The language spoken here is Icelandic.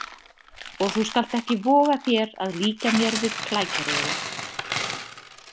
Og þú skalt ekki voga þér að líkja mér við klækjarefinn.